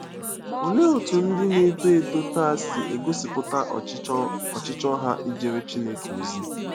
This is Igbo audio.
Olee otú ndị na-eto eto taa si egosipụta ọchịchọ ọchịchọ ha ijere Chineke ozi?